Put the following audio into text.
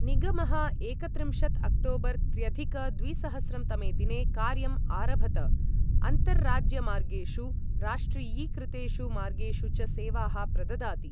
निगमः एकत्रिंशत् अक्टोबर् त्र्यधिक द्विसहस्रं तमे दिने कार्यम् आरभत, अन्तर्राज्यमार्गेषु, राष्ट्रियीकृतेषु मार्गेषु च सेवाः प्रददाति।